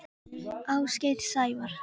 Ásgeir Sævar.